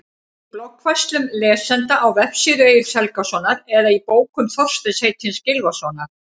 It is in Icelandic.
Í bloggfærslum lesenda á vefsíðu Egils Helgasonar eða í bókum Þorsteins heitins Gylfasonar?